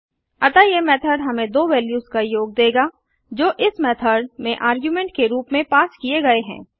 अतः यह मेथड़ हमें दो वेल्यूस का योग देगा जो इस मेथड़ में आर्गुमेंट के रूप में पास किए गए हैं